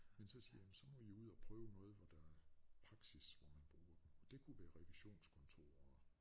Men så siger jamen så må I jo ud at prøve noget hvor der praksis hvor man bruger det og det kunne være revisionskontorer